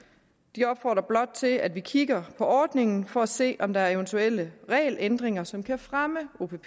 de opfordrer blot til at vi kigger på ordningen for at se om der er eventuelle regelændringer som kan fremme opp